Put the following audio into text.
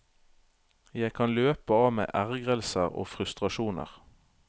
Jeg kan løpe av meg ergrelser og frustrasjoner.